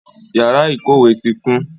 Yara ikowe ti kun